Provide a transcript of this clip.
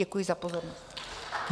Děkuji za pozornost.